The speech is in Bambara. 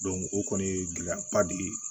o kɔni ye gɛlɛyaba de ye